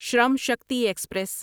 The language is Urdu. شرم شکتی ایکسپریس